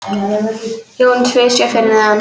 Jón tvísté fyrir neðan.